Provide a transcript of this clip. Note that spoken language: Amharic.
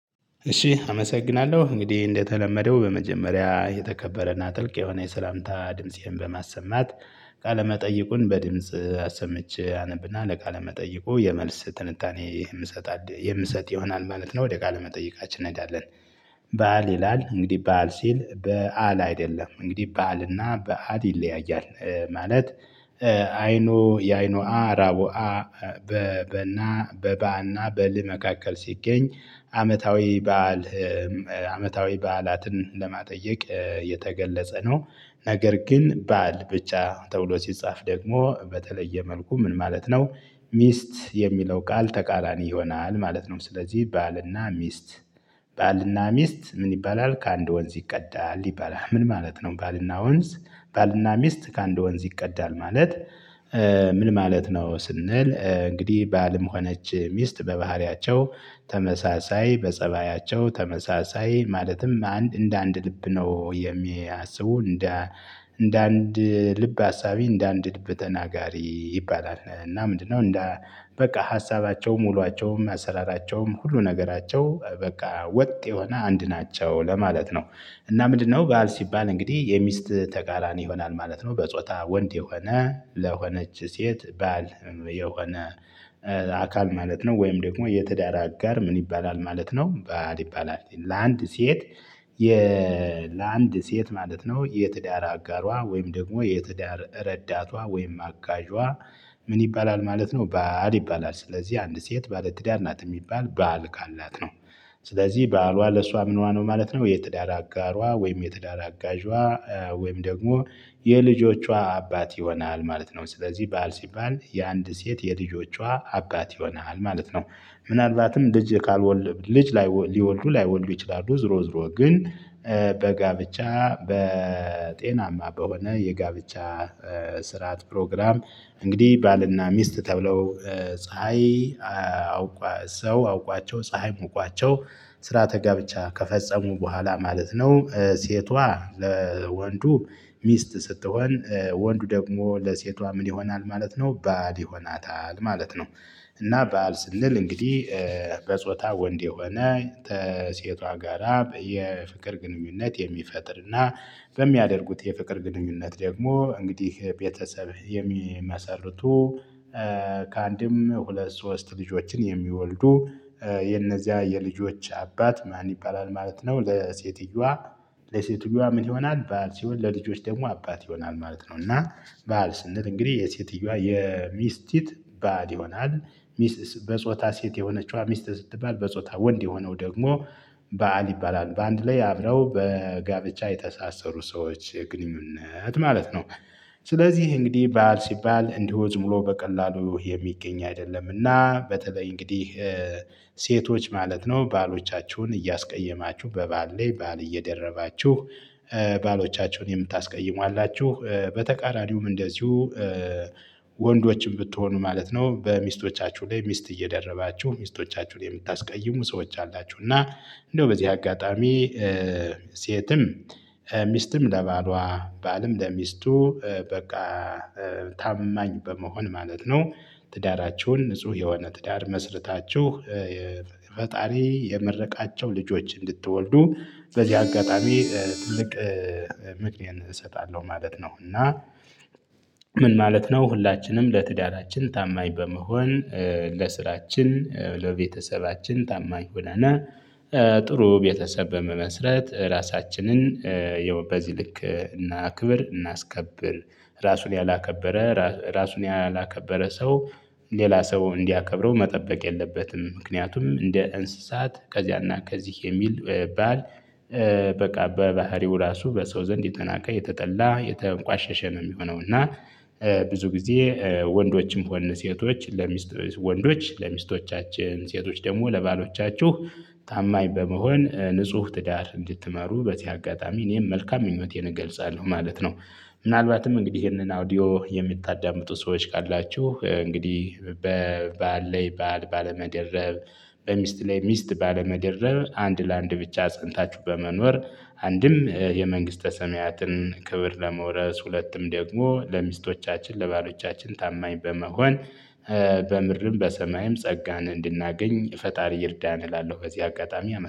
እሺ አመሰግናለሁ እንግዲህ እንደተለመደው በመጀመሪያ የተከበረና ጥልቅ የሆነ የሰላምታ ድምፄን በማሰማት ቃለ መጠይቁን በድምጽ አሰምቼ አነብና ለቃለ መጠይቁ የመልስ ትንታኔ የምሰጥ የምሰጥ ይሆናል ማለት ነው ወደ ቃለ መጠይቃችን እንሄዳለን። ባል ይላል እንግዲህ ባል ሲል በዓል አይደለም እንግዲህ በዓል እና በዓል ይለያያል። ማለት አይኖ የአይኖ አራቦ አ በ በና በባና በል መካከል ሲገኝ አመታዊ በዓል አመታዊ በዓላትን ለማጠየቅ የተገለጸ ነው። ነገር ግን በዓል ብቻ ተብሎ ሲጻፍ ደግሞ በተለየ መልኩ ምን ማለት ነው? ሚስት የሚለው ቃል ተቃራኒ ይሆናል ማለት ነው። ስለዚህ ባልና ሚስት ባልና ሚስት ምን ይባላል? ከአንድ ወንዝ ይቀዳል ይባላል ምን ማለት ነው? ባልና ወንዝ ባልና ሚስት ከአንድ ወንዝ ይቀዳል ማለት። ምን ማለት ነው? ስንል እንግዲህ ባልም ሆነች ሚስት በባህሪያቸው ተመሳሳይ በፀባያቸው ተመሳሳይ ማለትም አንድ እንደ አንድ ልብ ነው። የሚያስቡ እንደ እንደ አንድ ልብ አሳቢ እንደ አንድ ልብ ተናጋሪ ይባላል። እና ምንድነው? እንደ በቃ ሀሳባቸውም ውሎአቸውም አሰራራቸውም ሁሉ ነገራቸው በቃ ወጥ የሆነ አንድ ናቸው ለማለት ነው። እና ምንድነው? በዓል ሲባል እንግዲህ የሚስት ተቃራኒ ይሆናል ማለት ነው። በጾታ ወንድ የሆነ ለሆነች ሴት ባል የሆነ አካል ማለት ነው። ወይም ደግሞ የትዳር አጋር ምን ይባላል ማለት ነው። ባል ይባላል ለአንድ ሴት የለአንድ ሴት ማለት ነው። የትዳር አጋሯ ወይም ደግሞ የትዳር ረዳቷ ወይም አጋዧ ምን ይባላል ማለት ነው። ባል ይባላል ስለዚህ አንድ ሴት ባለትዳር ናት የሚባል ባል ካላት ነው። ስለዚህ ባሏ ለእሷ ምኗ ነው ማለት ነው። የትዳር አጋሯ ወይም የትዳር አጋዥዋ ወይም ደግሞ የልጆቿ አባት ይሆናል ማለት ነው። ስለዚህ ባል ሲባል የአንድ ሴት የልጆቿ አባት ይሆናል ማለት ነው። ምናልባትም ልጅ ካልወለድን ልጅ ሊወልዱ ላይወልዱ ይችላሉ ዙሮ ዙሮ ግን በጋብቻ በጤናማ በሆነ የጋብቻ ስርዓት ፕሮግራም እንግዲህ ባልና ሚስት ተብለው ፀሀይ አውቋ ሰው አውቋቸው ፀሀይ ሙቋቸው ስርዓተ ጋብቻ ከፈጸሙ በኋላ ማለት ነው። ሴቷ ለወንዱ ሚስት ስትሆን ወንዱ ደግሞ ለሴቷ ምን ይሆናል ማለት ነው? ልድ ይሆናታል ማለት ነው። እና ባል ስንል እንግዲህ በጾታ ወንድ የሆነ ተሴቷ ጋራ በየፍቅር ግንኙነት የሚፈጥርና በሚያደርጉት የፍቅር ግንኙነት ደግሞ እንግዲህ ቤተሰብ የሚመሰርቱ። ከአንድም ሁለት ሶስት ልጆችን የሚወልዱ የነዚያ የልጆች አባት ማን ይባላል ማለት ነው። ለሴትየዋ ለሴትየዋ ምን ይሆናል ባል ሲሆን ለልጆች ደግሞ አባት ይሆናል ማለት ነው። እና ባል ስንል እንግዲህ የሴትየዋ የሚስቲት ባል ይሆናል ሚስት በጾታ ሴት የሆነችዋ ሚስት ስትባል በጾታ ወንድ የሆነው ደግሞ ባል ይባላል በአንድ ላይ አብረው በጋብቻ የተሳሰሩ ሰዎች ግንኙነት ማለት ነው። ስለዚህ እንግዲህ ባል ሲባል እንዲሁ ዝም ሙሉ በቀላሉ የሚገኝ አይደለምና በተለይ እንግዲህ ሴቶች ማለት ነው ባሎቻችሁን እያስቀየማችሁ በባል ላይ ባል እየደረባችሁ ባሎቻችሁን የምታስቀይሙ አላችሁ። በተቃራኒውም እንደዚሁ ወንዶችም ብትሆኑ ማለት ነው በሚስቶቻችሁ ላይ ሚስት እየደረባችሁ ሚስቶቻችሁን የምታስቀይሙ ሰዎች አላችሁ። እና እንደው በዚህ አጋጣሚ ሴትም ሚስትም ለባሏ ባልም ለሚስቱ በቃ ታማኝ በመሆን ማለት ነው። ትዳራችሁን ንጹህ የሆነ ትዳር መስርታችሁ ፈጣሪ የመረቃቸው ልጆች እንድትወልዱ በዚህ አጋጣሚ ትልቅ ምክንያት እሰጣለሁ ማለት ነው። እና ምን ማለት ነው ሁላችንም ለትዳራችን ታማኝ በመሆን ለስራችን ለቤተሰባችን ታማኝ ሆነን ጥሩ ቤተሰብ በመመስረት ራሳችንን ይኸው በዚህ ልክ እናክብር እናስከብር ራሱን ያላከበረ ራሱን ያላከበረ ሰው ሌላ ሰው እንዲያከብረው መጠበቅ የለበትም። ምክንያቱም እንደ እንስሳት ከዚያና ከዚህ የሚል ባል በቃ በባህሪው ራሱ በሰው ዘንድ የተናቀ የተጠላ የተንቋሸሸ ነው የሚሆነው እና። ብዙ ጊዜ ወንዶችም ሆነ ሴቶች ለሚስት ወንዶች ለሚስቶቻችን ሴቶች ደግሞ ለባሎቻችሁ ታማኝ በመሆን ንጹህ ትዳር እንድትመሩ በዚህ አጋጣሚ እኔም መልካም ምኞቴን እገልጻለሁ ማለት ነው። ምናልባትም እንግዲህ ይሄንን አውዲዮ የምታዳምጡ ሰዎች ካላችሁ እንግዲህ በባል ላይ ባል ባለመደረብ በሚስት ላይ ሚስት ባለመደረብ አንድ ለአንድ ብቻ ጸንታችሁ በመኖር። አንድም የመንግስተ ሰማያትን ክብር ለመውረስ ሁለትም ደግሞ ለሚስቶቻችን ለባሎቻችን ታማኝ በመሆን በምድርም በሰማይም ጸጋን እንድናገኝ ፈጣሪ ይርዳን እላለሁ። በዚህ አጋጣሚ